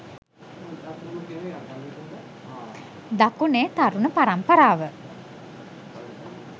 දකුණේ තරුණ පරම්පරාව